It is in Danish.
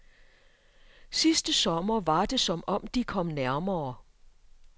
Sidste sommer var det som om, de kom nærmere.